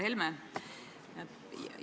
Härra Helme!